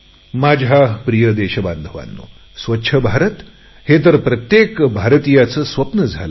माझ्या प्रिय देशबांधवांनो स्वच्छ भारत हे तर प्रत्येक भारतीयांचे स्वप्न झाले आहे